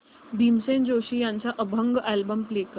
भीमसेन जोशी यांचा अभंग album play कर